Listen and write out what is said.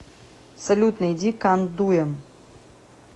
салют найди кан дуем